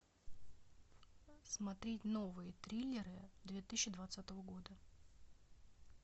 смотреть новые триллеры две тысячи двадцатого года